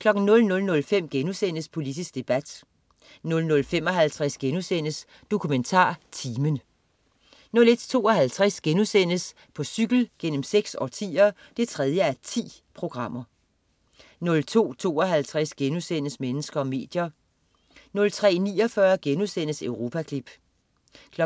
00.05 Politisk debat* 00.55 DokumentarTimen* 01.52 På cykel gennem seks årtier 3:10* 02.52 Mennesker og medier* 03.49 Europaklip* 04.34